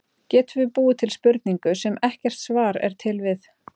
Getum við búið til spurningu, sem ekkert svar er til við?